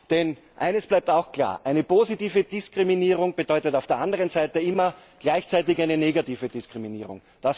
Denn eines bleibt auch klar Eine positive Diskriminierung bedeutet auf der anderen Seite immer gleichzeitig eine negative Diskriminierung.